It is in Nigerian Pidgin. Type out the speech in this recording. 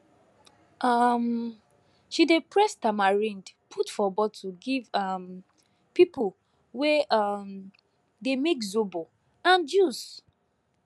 um she dey press tamarind put for bottle give um people wey um dey make zobo and juice